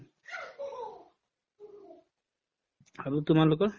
আৰু তোমালোকৰ